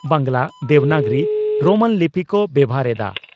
Bangla, Devanagari Roman ᱞᱤᱯᱤ ᱠᱚ ᱵᱮᱵᱷᱟᱨ ᱮᱫᱼᱟ ᱾